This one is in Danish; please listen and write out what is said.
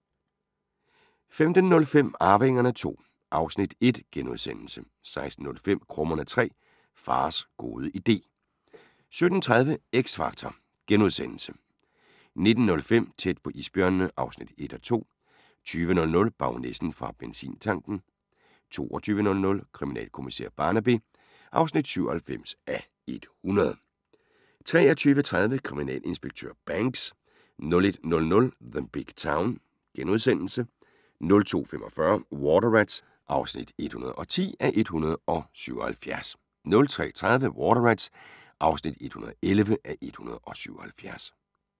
15:05: Arvingerne II (Afs. 1)* 16:05: Krummerne 3 – fars gode idé 17:30: X Factor * 19:05: Tæt på isbjørnene (1:2) 20:00: Baronessen fra benzintanken 22:00: Kriminalkommissær Barnaby (97:100) 23:30: Kriminalinspektør Banks 01:00: The Big Town * 02:45: Water Rats (110:177) 03:30: Water Rats (111:177)